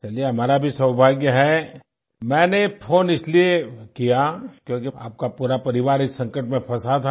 चलिए हमारा भी सौभाग्य है मैंने फ़ोन इसलिये किया क्योंकि आपका पूरा परिवार इस समय संकट में फंसा था